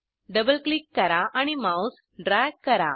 double click करा आणि mouse drag करा